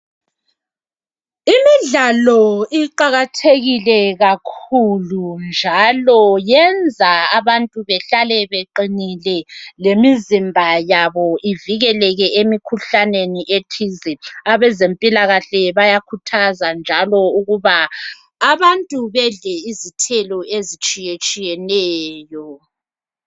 Imidlalo iqakathekile kakhulu njalo yenza abantu behlale beqinile lemizimba yabo uvikeleke emikhuhlaneni ethize . Abezempilakahle njalo ukuba abantu bedle izithelo ezitshiyetshiyeneyo.